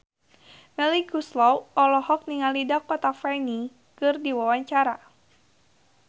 Melly Goeslaw olohok ningali Dakota Fanning keur diwawancara